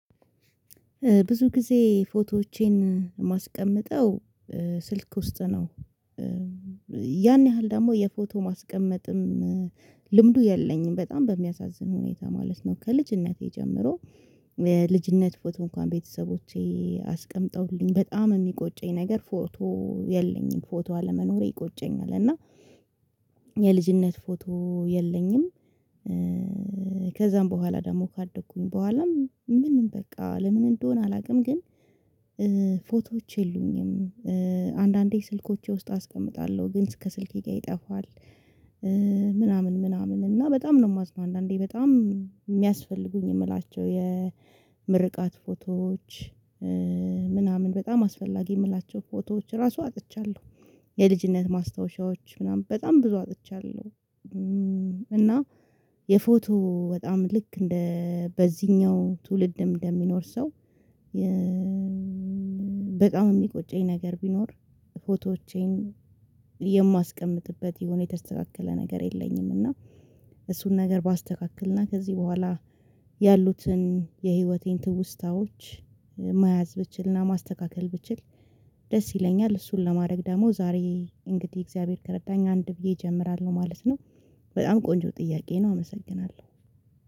ብዙ ጊዜ ፎቶዎቼን የማስቀመጠው ስልክ ውስጥ ነው። ያን ያህል ደግሞ የፎቶ ማስቀመጥም ልምዱ የለኝም በጣም በሚያሳዝን ሁኔታ ማለት ነው። ከልጅነቴ ጀምሮ የልጅነት ፎቶ እንኳን ቤተሰቦቼ አስቀምጠውልኝ በጣም የሚቆጨኝ ነገር ፎቶ የለኝም ፎቶ አለመኖሬ ይቆጨኛል። እና የልጅነት ፎቶ የለኝም። ከዛም በኋላ ደግሞ ካደኩም በኋላም ምንም በቃ ለምን እንደሆነ አላውቅም? ግን ፎቶዎች የሉኝም። አንዳንዴ ስልኮቼ ውስጥ አስቀምጣለሁ ግን እስከ ስልኬ ጋር ይጠፋል። ምናምን ምናምን እና በጣም ነው የማዝነው አንዳንዴ በጣም የሚያስፈልጉኝ የምላቸው የምርቃት ፎቶዎች ምናምን በጣም አስፈላጊ የምላቸው ፎቶዎች ራሱ አጥቻለሁ። የልጅነት ማስታወሻዎች ምናምን በጣም ብዙ አጥቻለሁ። እና የፎቶ በጣም ልክ እንደ በዚህኛው ትውልድ እንደሚኖር ሰው በጣም የሚቆጨኝ ነገር ቢኖር ፎቶዎቼን የማስቀምጥበት የሆነ የተስተካከለ ነገር የለኝም። እና እሱን ነገር ባስተካክልና ከዚህ በኋላ ያሉትን የህይወቴን ትውስታዎች መያዝ ብችልና ማስተካከል ብችል ደስ ይለኛል። እሱን ለማድረግ ደግሞ ዛሬ እንግዲህ እግዚአብሔር ከረዳኝ አንድ ብዬ እጀምራለሁ ማለት ነው። በጣም ቆንጆ ጥያቄ ነው አመሰግናለሁ።